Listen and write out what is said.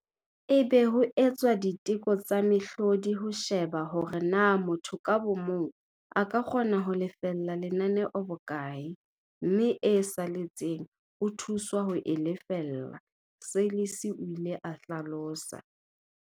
E be ho etswa diteko tsa mehlodi ho sheba hore na motho ka bo mong a ka kgona ho lefella lenaneo bokae, mme e saletseng o thuswa ho e lefella, Seirlis o ile a hlalosa.